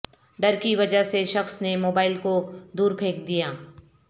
ڈر کی وجہ سے شخص نے موبائل کو دور پھینک دیا